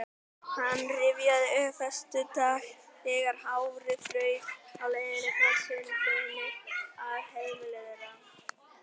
Hann rifjaði upp frostdaga, þegar hárið fraus á leiðinni frá sundlauginni að heimili þeirra.